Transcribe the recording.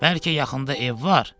Bəlkə yaxında ev var?